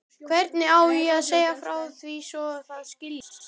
Hvernig á að segja frá því svo það skiljist?